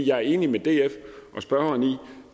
jeg er enig med df og spørgeren i